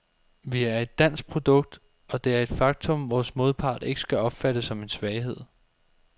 Vi er et dansk produkt, og det er et faktum, vores modpart ikke skal opfatte som en svaghed.